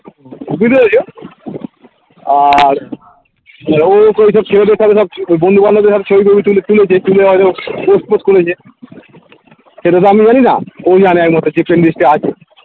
বুঝতে পেরেছো আর ও তো ঐসব ছেলেদের সাথে সব ওই বন্ধু বান্ধবদের হাতে ছবি টবি তুলে~তুলেছে তুলে হয়তো post ফোস্ট করেছে সেইটা তো আমি জানি না ও জানে একমাত্র যে friend list এ আছে